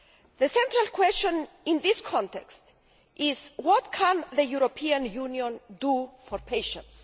The central question in this context is what can the European Union do for patients?